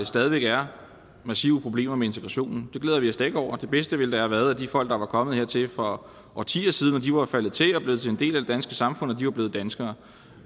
stadig væk er massive problemer med integrationen det glæder vi os da ikke over det bedste ville da have været at de folk der var kommet hertil for årtier siden var faldet til og blevet en del af det danske samfund at de var blevet danskere